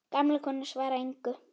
Gamla konan svarar engu.